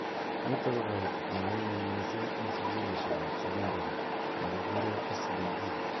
Nitok ko kaitet nemi ng'uny mising eng sukulishek ab sekondary nekikure SDG.